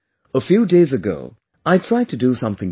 A few days ago I tried to do something different